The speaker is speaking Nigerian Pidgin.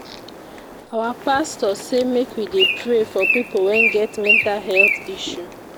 Our pastor sey make we dey pray for pipo wey get mental health issue.